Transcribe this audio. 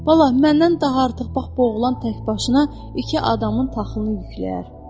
Bala, məndən daha artıq bax bu oğlan təkbaşına iki adamın taxılını yükləyər.